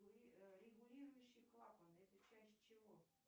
регулирующий клапан это часть чего